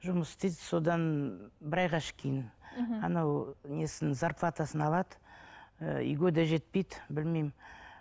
жұмыс істейді содан бір айға мхм анау несін зарплатасын алады ы үйге де жетпейді білмеймін